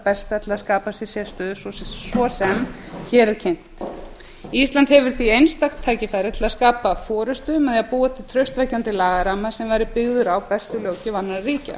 besta til að skapa sér sérstöðu svo sem hér er kynnt ísland hefur því einstakt tækifæri til að skapa forustu með því að skapa traustvekjandi lagaramma sem væri byggður á bestu löggjöf annarra ríkja